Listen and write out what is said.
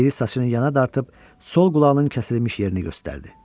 Biri saçını yana dartıb, sol qulağının kəsilmiş yerini göstərdi.